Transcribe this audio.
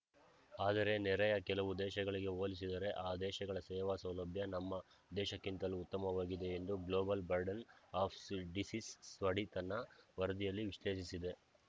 ಆದರೆ ನೆರೆಯ ಕೆಲವು ದೇಶಗಳಿಗೆ ಹೋಲಿಸಿದರೆ ಆ ದೇಶಗಳ ಸೇವಾ ಸೌಲಭ್ಯ ನಮ್ಮ ದೇಶಕ್ಕಿಂತಲೂ ಉತ್ತಮವಾಗಿದೆ ಎಂದು global burden of disease study ತನ್ನ ವರದಿಯಲ್ಲಿ ವಿಶ್ಲೇಷಿಸಿದೆ